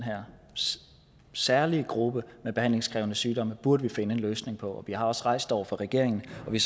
her særlige gruppe med behandlingskrævende sygdomme burde vi finde en løsning på vi har også rejst det over for regeringen og vi